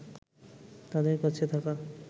তাদের কাছে থাকা